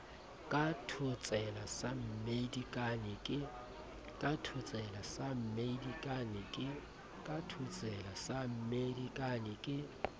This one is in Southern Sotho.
ka thotsela sa mmedikane ke